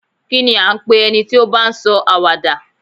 Kí ní à ń pe ẹni tí ó bá ń sọ àwàdà?